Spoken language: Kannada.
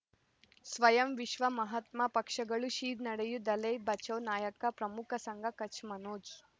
ಸ್ವಯಂ ವಿಶ್ವ ಮಹಾತ್ಮ ಪಕ್ಷಗಳು ಶ್ರೀ ನಡೆಯೂ ದಲೈ ಬಚೌ ನಾಯಕ ಪ್ರಮುಖ ಸಂಘ ಕಚ್ ಮನೋಜ್